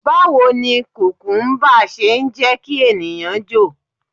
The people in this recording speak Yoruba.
Báwo ni kùkúmbà ṣe ń jẹ́ kí ènìyàn jò?